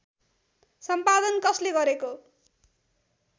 सम्पादन कसले गरेको